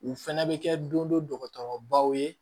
U fɛnɛ bɛ kɛ don dɔkɔtɔrɔbaw ye